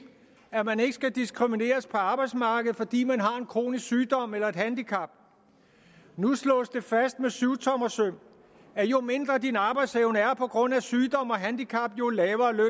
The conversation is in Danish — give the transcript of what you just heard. at man ikke skal diskrimineres på arbejdsmarkedet fordi man har en kronisk sygdom eller et handicap nu slås det fast med syvtommersøm at jo mindre din arbejdsevne er på grund af sygdom eller et handicap jo lavere løn